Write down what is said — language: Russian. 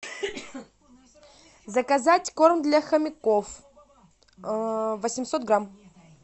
заказать корм для хомяков восемьсот грамм